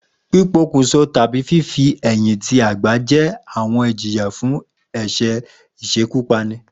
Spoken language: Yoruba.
Pípokùnso tàbí fífi-ẹ̀yìn-ti-àgbá jẹ́ àwọn ìjìyà fún ẹ̀ṣẹ̀ ìṣekúpani